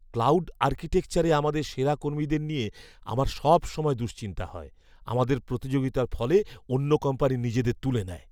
Cloud আর্কিটেকচারে আমাদের সেরা কর্মীদের নিয়ে আমার সবসময় দুশ্চিন্তা হয়। আমাদের প্রতিযোগিতার ফলে অন্য কোম্পানি নিজেদের তুলে নেয়।